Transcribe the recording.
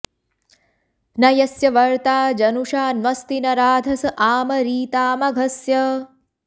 न यस्य॑ व॒र्ता ज॒नुषा॒ न्वस्ति॒ न राध॑स आमरी॒ता म॒घस्य॑